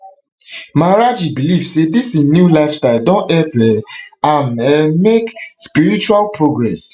maharaj ji believe say dis im new lifestyle don help um am um make spiritual progress